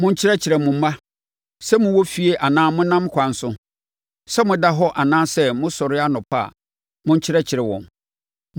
Monkyerɛkyerɛ mo mma. Sɛ mowɔ fie anaa monam ɛkwan so, sɛ moda hɔ anaa mosɔre anɔpa a, monkyerɛkyerɛ wɔn.